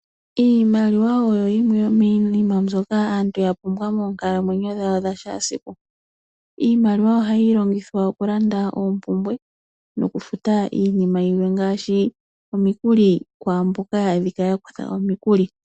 Iimaliwa oyo yimwe yomiinima mbyoka aantu yapumbwa moonkalamwenyo dhawo dhakehe esiku. Iimaliwa ohayi longithwa okulanda oompumbwe, nokufuta iinima yilwe ngaashi omikuli, kwaamboka yali yakutha omikuli.